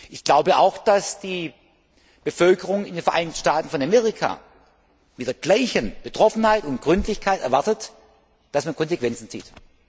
Ich glaube auch, dass die Bevölkerung in den Vereinigten Staaten von Amerika mit der gleichen Betroffenheit und Gründlichkeit erwartet, dass man Konsequenzen zieht.